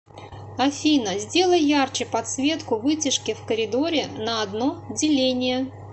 афина сделай ярче подсветку вытяжки в коридоре на одно деление